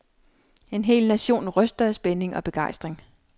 En hel nation ryster af spænding og begejstring.